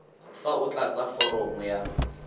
fa o tlatsa foromo ya